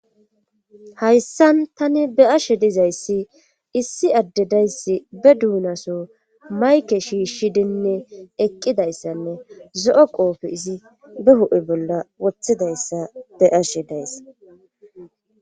hayssan tani be ashe dizayssi issi adde dayssi be duunaso mayke shiishshidinne eqqidayssanne zo7o qoofe izi be ho7e bolla wothidayssa be ashe dayssa.